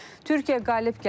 Türkiyə qalib gəldi,